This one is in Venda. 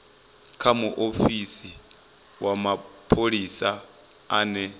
kha muofisi wa mapholisa ane